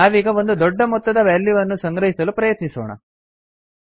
ನಾವೀಗ ಒಂದು ದೊಡ್ಡ ಮೊತ್ತದ ವ್ಯಾಲ್ಯೂವನ್ನು ಸಂಗ್ರಹಿಸಲು ಪ್ರಯತ್ನಿಸೋಣ